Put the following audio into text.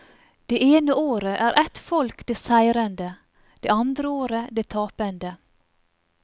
Det ene året er et folk det seirende, det andre året det tapende.